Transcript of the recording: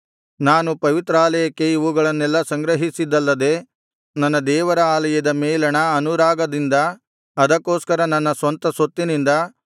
ನಾನು ಪವಿತ್ರಾಲಯಕ್ಕೆ ಇವುಗಳನ್ನೆಲ್ಲಾ ಸಂಗ್ರಹಿಸಿದ್ದಲ್ಲದೆ ನನ್ನ ದೇವರ ಆಲಯದ ಮೇಲಣ ಅನುರಾಗದಿಂದ ಅದಕ್ಕೊಸ್ಕರ ನನ್ನ ಸ್ವಂತ ಸೊತ್ತಿನಿಂದ